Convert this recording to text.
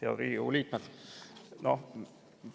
Head Riigikogu liikmed!